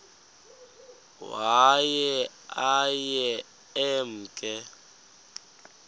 waye aye emke